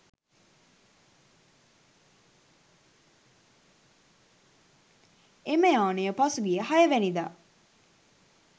එම යානය පසුගිය හයවැනිදා